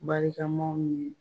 Barikamaw ni